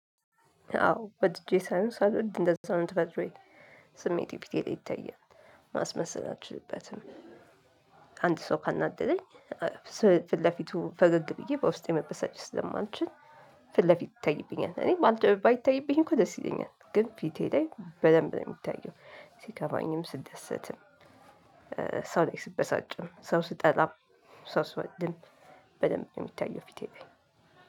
አዎ ወድጄ ሳይሆን ሳልወድ እንደዛ ነው ተፈጥሮዬ ስሜቴ ፊቴ ላይ ይታያል ማስመሰል አልችልበትም። አንድ ሰው ካናደደኝ ስ ፊት ለፊቱ ፈገግ ብዬ በውስጤ መበሳጨት ስለማልችል። ፊት ለፊት ይታይብኛል እኔ ባልት ባይታይብኝ እኮ ደስ ይለኛል ግን ፊቴ ላይ በደንብ ነው ሚታየው። ሲከፋኝም ስደሰትም ሰው ላይ ስበሳጭም ሰው ስጠላም ሰው ስወደም በደንብ ነው ሚታየው። ፊቴ ላይ